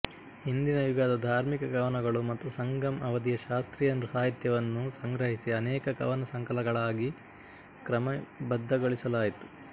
ಹಿಂದಿನ ಯುಗದ ಧಾರ್ಮಿಕ ಕವನಗಳು ಮತ್ತು ಸಂಗಮ್ ಅವಧಿಯ ಶಾಸ್ತ್ರೀಯ ಸಾಹಿತ್ಯವನ್ನು ಸಂಗ್ರಹಿಸಿ ಅನೇಕ ಕವನಸಂಕಲನಗಳಾಗಿ ಕ್ರಮಬದ್ಧಗೊಳಿಸಲಾಯಿತು